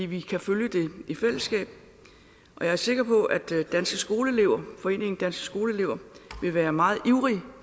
vi kan følge det i fællesskab jeg er sikker på at foreningen danske skoleelever vil være meget ivrige